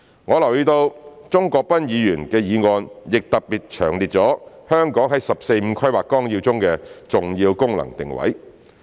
我留意到鍾國斌議員的議案特別詳列了香港在《十四五規劃綱要》中的重要功能定位。